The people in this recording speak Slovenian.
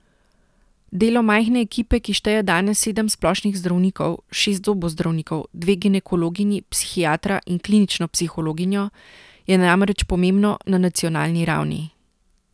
Delo majhne ekipe, ki šteje danes sedem splošnih zdravnikov, šest zobozdravnikov, dve ginekologinji, psihiatra in klinično psihologinjo, je namreč pomembno na nacionalni ravni.